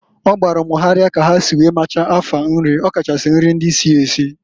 O gbalụ m gharị ka ha si wee machaa afa nrị, ọ kachasị nrị ndị si esi.